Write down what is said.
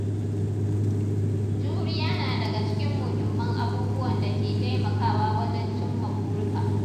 Juriya na daga cikin muhimman abubuwan da ke taimakawa wajen cimma burika.